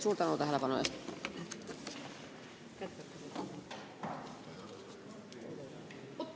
Suur tänu tähelepanu eest!